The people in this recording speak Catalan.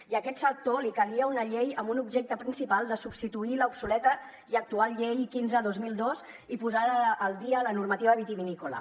i a aquest sector li calia una llei amb un objectiu principal de substituir l’obsoleta i actual llei quinze dos mil dos i de posada al dia la normativa vitivinícola